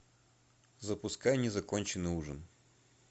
запускай незаконченный ужин